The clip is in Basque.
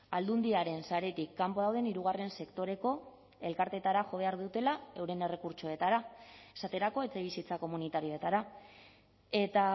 aldundiaren saretik kanpo dauden hirugarren sektoreko elkarteetara jo behar dutela euren errekurtsoetara esaterako etxebizitza komunitarioetara eta